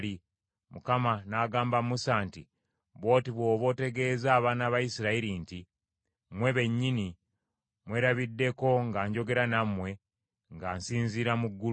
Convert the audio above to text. Mukama n’agamba Musa nti, “Bw’oti bw’oba otegeeza abaana ba Isirayiri nti, ‘Mmwe bennyini mwerabiddeko nga njogera nammwe nga nsinziira mu ggulu.